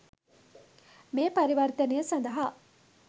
මේ පරිවර්තනය සඳහා